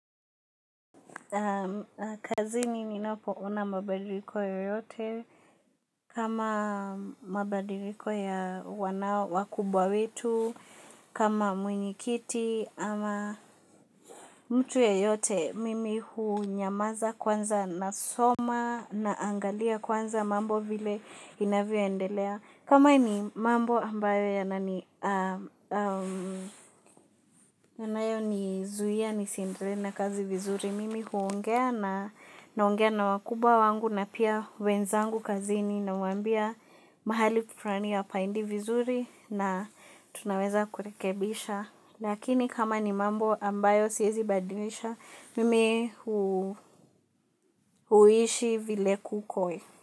Kazini ninapoona mabadiliko yoyote kama mabadiliko ya wanao wakubwa wetu kama mwenyikiti ama mtu yeyote mimi hunyamaza kwanza nasoma naangalia kwanza mambo vile inavyo endelea kama ni mambo ambayo ya nani anayo nizuia nisiendelee na kazi vizuri mimi huongea na wakubwa wangu na pia wenzangu kazini. Nawaambia mahali fulani hapaendi vizuri na tunaweza kurekebisha lakini kama ni mambo ambayo siyezi badilisha mimi huishi vile kuko.